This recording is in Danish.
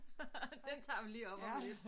Den tager vi lige om om lidt